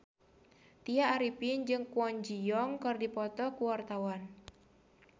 Tya Arifin jeung Kwon Ji Yong keur dipoto ku wartawan